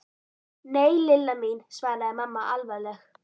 Nei, Lilla mín svaraði mamma alvarleg.